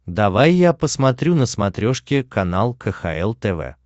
давай я посмотрю на смотрешке канал кхл тв